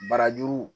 Barajuru